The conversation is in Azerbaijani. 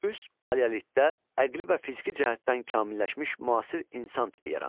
Üst paleolitdə əqli və fiziki cəhətdən kamilləşmiş müasir insan tipi yarandı.